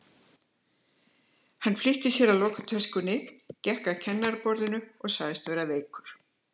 Hann flýtti sér að loka töskunni, gekk að kennaraborðinu og sagðist vera veikur.